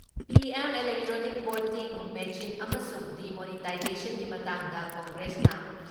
PM. Electronic voting machine ꯑꯃꯁꯨꯡ ꯗꯤꯃꯣꯅꯤꯇꯥꯏꯖꯦꯁꯟꯒꯤ ꯃꯇꯥꯡꯗ ꯀꯪꯒ꯭ꯔꯦꯁꯅ